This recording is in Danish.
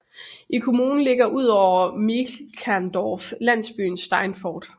I kommunen ligger udover Mielkendorf landsbyen Steinfort